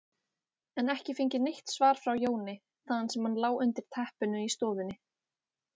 en ekki fengið neitt svar frá Jóni, þaðan sem hann lá undir teppinu í stofunni.